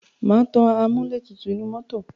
Má tan amúlẹ̀tutù inú mọ́tọ̀.